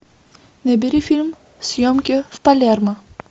набери фильм съемки в палермо